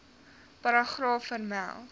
paragraaf vermeld